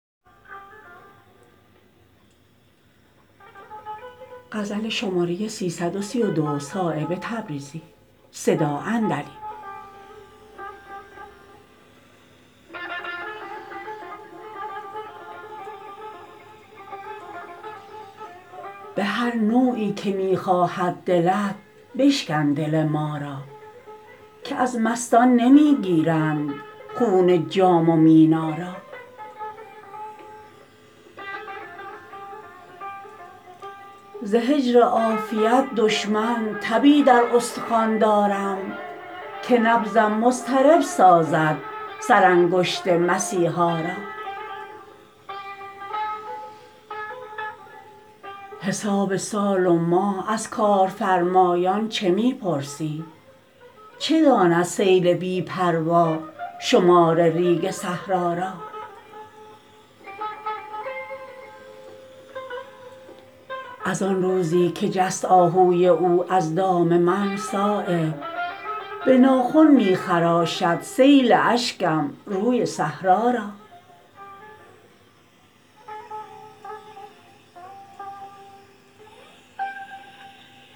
به هر نوعی که می خواهد دلت بشکن دل ما را که از مستان نمی گیرند خون جام و مینا را ز هجر عافیت دشمن تبی در استخوان دارم که نبضم مضطرب سازد سرانگشت مسیحا را حساب سال و ماه از کارفرمایان چه می پرسی چه داند سیل بی پروا شمار ریگ صحرا را ازان روزی که جست آهوی او از دام من صایب به ناخن می خراشد سیل اشکم روی صحرا را